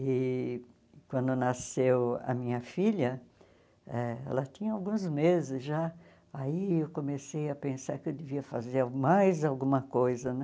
E quando nasceu a minha filha, eh ela tinha alguns meses já, aí eu comecei a pensar que eu devia fazer mais alguma coisa, né?